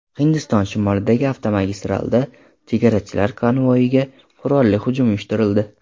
Hindiston shimolidagi avtomagistralda chegarachilar konvoyiga qurolli hujum uyushtirildi.